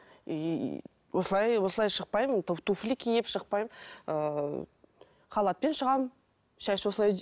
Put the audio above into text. и осылай осылай шықпаймын туфли киіп шықпаймын ыыы халатпен шығамын шаш осылай